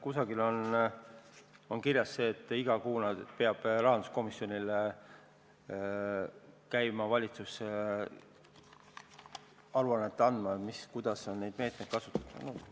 Kusagil on kirjas, et valitsus peab iga kuu käima rahanduskomisjonile aru andmas, kuidas neid meetmeid on kasutatud.